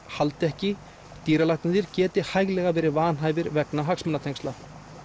haldi ekki dýralæknarnir geti hæglega verið vanhæfir vegna hagsmunatengsla